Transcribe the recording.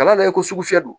Ka da i ko sugu fɛ